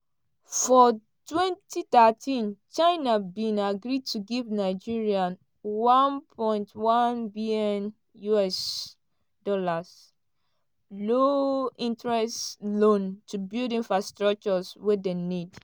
for 2013 china bin agree to give nigeria $1.1bn (£700m) low-interest loan to build infrastructures wey dem need.